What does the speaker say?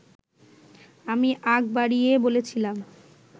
আমি আগ বাড়িয়ে বলেছিলাম